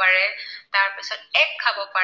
অসমত